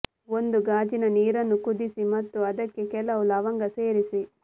ಒಂದು ಗಾಜಿನ ನೀರನ್ನು ಕುದಿಸಿ ಮತ್ತು ಅದಕ್ಕೆ ಕೆಲವು ಲವಂಗ ಸೇರಿಸಿ